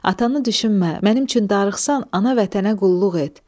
Atanı düşünmə, mənim üçün darıxsan, ana vətənə qulluq et.